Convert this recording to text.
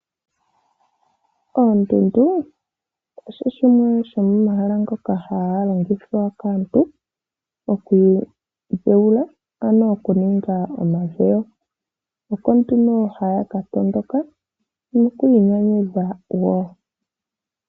Oondundu odho shimwe shomomahala ngoka haga longithwa kaantu oku idhewula, ano oku ninga omadhewo. Oko nduno haya ka tondoka noku inyanyudha wo.